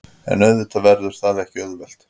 En auðvitað verður það ekki auðvelt